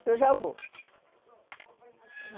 Que eu já vou.